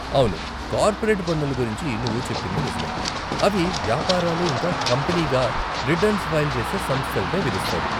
అవును, కార్పోరేట్ పన్నులు గురించి నువ్వు చెప్పింది నిజమే, అవి వ్యాపారాలు ఇంకా కంపనీగా రిటర్న్స్ ఫైల్ చేసే సంస్థలపై విధిస్తారు.